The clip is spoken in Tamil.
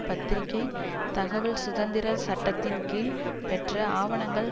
பத்திரிகை தகவல் சுதந்திர சட்டத்தின் கீழ் பெற்ற ஆவணங்கள்